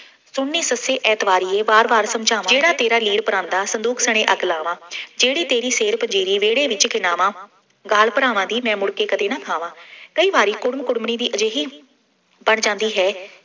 ਸੁਣ ਨੀ ਸੱਸੇ ਏਤਬਾਰੀਏ ਵਾਰ ਵਾਰ ਸਮਝਾਵਾਂ, ਜਿਹੜਾ ਤੇਰਾ ਲੀਰ ਪਰਾਂਦਾ, ਸੰਦੂਕ ਸਣੇ ਅੱਗ ਲਾਵਾਂ, ਜਿਹੜੀ ਤੇਰੀ ਸ਼ੇਰ ਪੰਜ਼ੇਰੀ, ਵਿਹੜੇ ਵਿੱਚ ਖਿੰਡਾਵਾਂ, ਗਾਲ ਭਰਾਵਾਂ ਦੀ ਮੈਂ ਮੁੜ ਕੇ ਕਦੇ ਨਾ ਖਾਵਾਂ। ਕਈ ਵਾਰੀ ਕੁੜਮ ਕੁੜਮਣੀ ਦੀ ਅਜਿਹੀ ਬਣ ਜਾਂਦੀ ਹੈ।